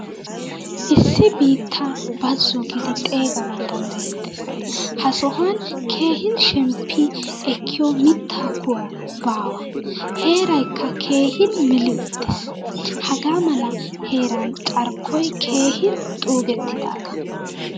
Issi biittaa bazzo giidi xeeganawu danddayetees. Ha sohuwan keehin shemppi ekkiyo mitta kuwa baawa. Heeraykka keehin meli uttiis. Hagaamala heeraan carkkoy keehin xuugettidaaga.